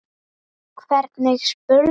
Hvernig spyrðu??